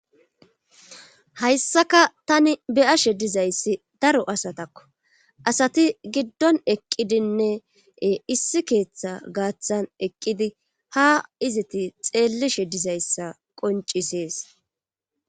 Hayssakka tani be'ashshe dizayssi daro asatakko asati giddon eqqidinne issi keeththa gaaththan eqqidi ha izati xeelleshe dizayssa qoncisees